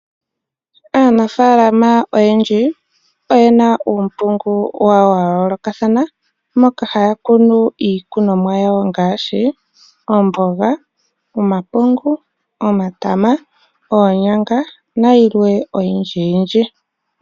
Aanafalam oyendji oyena uunongo wawo wa yoolokathana moka haya kunu iikunomwa yawo ngaashi omboga ,omapungu ,omatama nayilwe oyindji yindji.